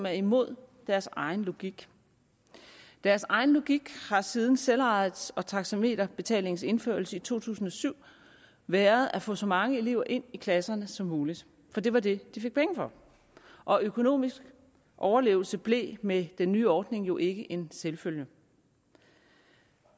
er imod deres egen logik deres egen logik har siden selvejets og taxameterbetalingens indførelse i to tusind og syv været at få så mange elever ind i klasserne som muligt for det var det de fik penge for og økonomisk overlevelse blev med den nye ordning jo ikke en selvfølge